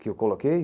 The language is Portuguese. Que eu coloquei?